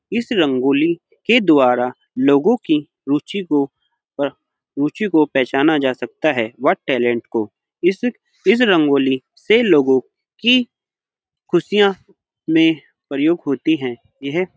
इस रंगोली के द्वारा लोगों की रूचि को अ रूचि को पहचाना जा सकता है व टैलेंट को इस-इस रंगोली से लोगों की खुशियाँ में प्रयोग होती है। यह --